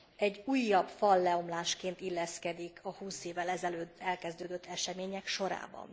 egy újabb falleomlásként illeszkedik a 20 évvel ezelőtt elkezdődött események sorába.